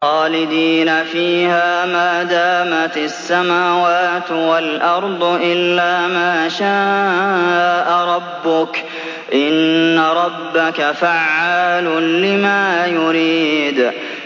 خَالِدِينَ فِيهَا مَا دَامَتِ السَّمَاوَاتُ وَالْأَرْضُ إِلَّا مَا شَاءَ رَبُّكَ ۚ إِنَّ رَبَّكَ فَعَّالٌ لِّمَا يُرِيدُ